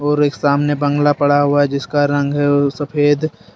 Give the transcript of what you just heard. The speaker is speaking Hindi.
और एक सामने बांग्ला पड़ा हुआ है जिसका रंग है वो सफेद।